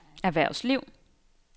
erhvervsliv